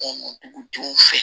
dugudenw fɛ